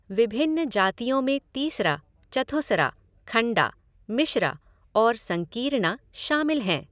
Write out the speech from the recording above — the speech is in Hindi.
विभिन्न जातियों में तीसरा, चथुसरा, खंडा, मिश्रा और संकीरना शामिल हैं।